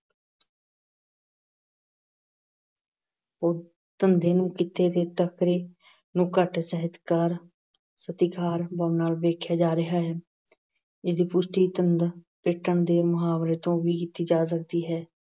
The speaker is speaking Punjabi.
ਉਹ ਧੰਦੇ ਨੂੰ ਕਿੱਤੇ ਦੇ ਤਕਰੇ ਨੂੰ ਘੱਟ ਸਹਿਜਕਾਰ ਸਤਿਕਾਰ ਨਾਲ ਵੇਖਿਆ ਜਾ ਰਿਹਾ ਹੈ। ਇਹਦੀ ਪੁਸ਼ਟੀ ਧੰਦ ਪਿੱਟਣ ਦੇ ਮੁਹਾਵਰੇ ਤੋਂ ਵੀ ਕੀਤੀ ਜਾ ਸਕਦੀ ਹੈ।